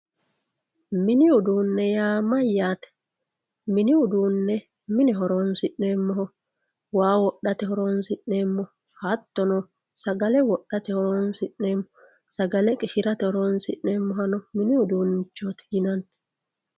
mini uduunne yaa mayyaate mini uduunne mine horoonsi'nanniho waa wodhate horoonsi'neemmoho sagale wodhate horoonsi'neemmoho sagale qishirate horoonsi'neemmohano mini uduunnichooti yinanni.